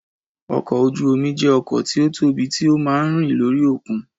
Ọkọ̀ ojú omi jẹ́ ọkọ̀ tí ó tóbi tí ó máa ń rìn lórí òkun